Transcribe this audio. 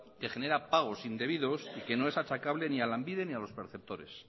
que genera pagos indebidos y que no es achacable ni a lanbide ni a los perceptores